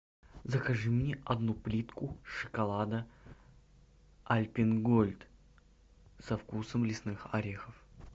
закажи мне одну плитку шоколада альпен гольд со вкусом лесных орехов